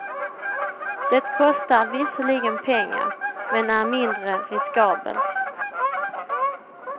Det kostar visserligen pengar, men är mindre riskabelt.